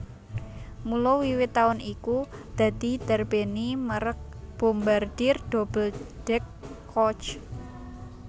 Mula wiwit taun iku dadi ndarbèni mèrek Bombardier Double deck Coach